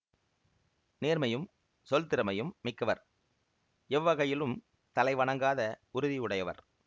நேர்மையும் சொல்திறமையும் மிக்கவர் எவ்வகையிலும் தலை வணங்காத உறுதி உடையவர்